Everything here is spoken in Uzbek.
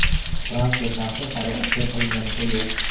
Transfer narxi hali oshkor qilinganicha yo‘q.